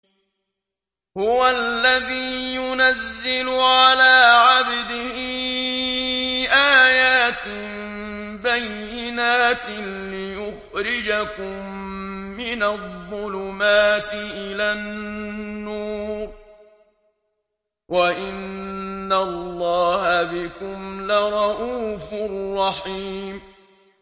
هُوَ الَّذِي يُنَزِّلُ عَلَىٰ عَبْدِهِ آيَاتٍ بَيِّنَاتٍ لِّيُخْرِجَكُم مِّنَ الظُّلُمَاتِ إِلَى النُّورِ ۚ وَإِنَّ اللَّهَ بِكُمْ لَرَءُوفٌ رَّحِيمٌ